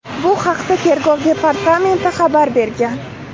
Bu haqda Tergov departamenti xabar bergan .